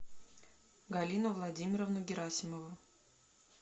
галину владимировну герасимову